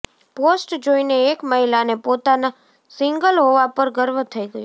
post જોઈને એક મહિલાને પોતાના સિંગલ હોવા પર ગર્વ થઈ ગયો